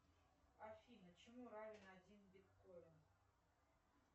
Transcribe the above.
афина чему равен один биткоин